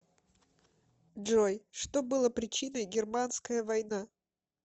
джой что было причиной германская война